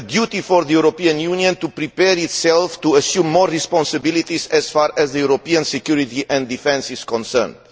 Firstly, the European Union must prepare itself to assume more responsilities as far as European security and defence are concerned.